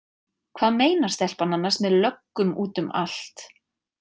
Hvað meinar stelpan annars með löggum út um allt?